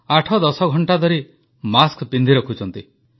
ଆଠଦଶ ଘଣ୍ଟା ଧରି ମାସ୍କ ପିନ୍ଧିରଖୁଛନ୍ତି